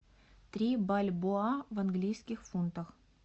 три бальбоа в английских фунтах